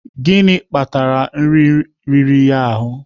Gịnị kpatara nri riri ya ahụ?